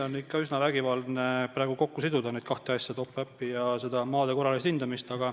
On ikka üsna vägivaldne kokku siduda need kaks asja, top-up ja maade korraline hindamine.